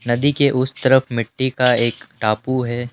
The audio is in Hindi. नदी के उस तरफ मिट्टी का एक टापू है।